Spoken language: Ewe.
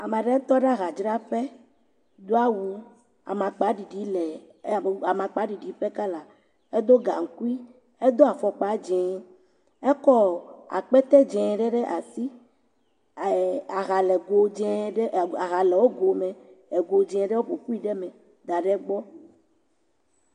Ame ɖe tɔ ɖe ahadzraƒe, do awu amakpaɖiɖi lee…ƒe kala, edo gaŋkui, edo afɔkpa dzee, ekɔ akpete dzee ɖe ɖe asi, aha le wo go me, woƒo ƒui ɖe me, da ɖe egbɔ.